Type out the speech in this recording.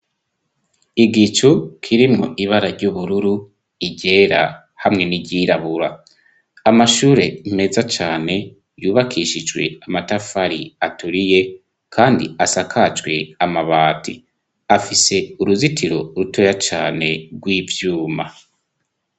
igicu kirimwo ibara ry'ubururu iryera hamwe n'iryirabura amashure meza cane yubakishijwe amatafari aturiye kandi asakajwe amabati afise uruzitiro rutoya cane rw'ivyuma